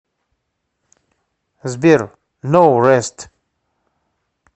сбер ноу рэст